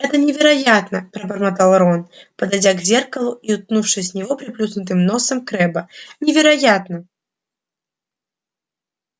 это невероятно пробормотал рон подойдя к зеркалу и уткнувшись в него приплюснутым носом крэбба невероятно